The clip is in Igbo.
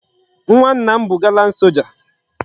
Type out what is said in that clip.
Nwa nna m bu gallant soja